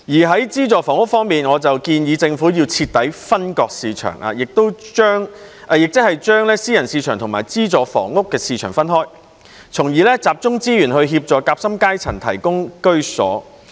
在資助房屋方面，我建議政府要徹底分割市場，即是把私人市場和資助房屋的市場分開，從而集中資源協助夾心階層獲得居所。